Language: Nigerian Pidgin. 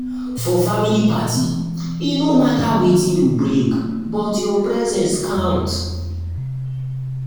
for family party e no matter wetin you bring but your presence count.